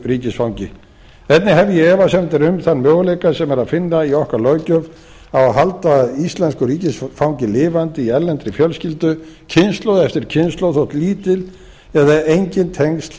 ríkisfangi einnig hef ég efasemdir um þann möguleika sem er að finna í okkar löggjöf á að halda íslensku ríkisfangi lifandi í erlendri fjölskyldu kynslóð eftir kynslóð þótt lítil eða engin tengsl